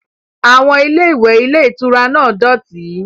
Àwọn ilé-ìwẹ̀ ilé-ìtura náà dọ̀tí.